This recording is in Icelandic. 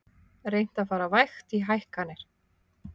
Reynt að fara vægt í hækkanir